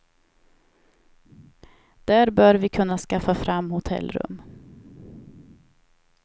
Där bör vi kunna skaffa fram hotellrum.